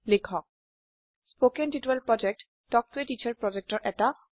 কথন শিক্ষণ প্ৰকল্প তাল্ক ত a টিচাৰ প্ৰকল্পৰ এটা অংগ